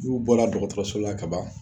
N'u bɔra dɔgɔtɔrɔso la ka ban